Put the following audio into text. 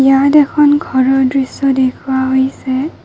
ইয়াত এখন ঘৰৰ দৃশ্য দেখুওৱা হৈছে।